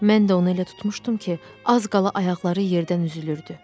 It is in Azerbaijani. Mən də onu elə tutmuşdum ki, az qala ayaqları yerdən üzülürdü.